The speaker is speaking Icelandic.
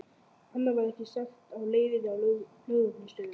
Annað var ekki sagt á leiðinni á lögreglustöðina.